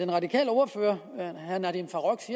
radikale ordfører